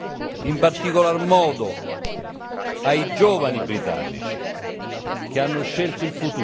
in particolar modo, ai giovani britannici che hanno scelto il futuro.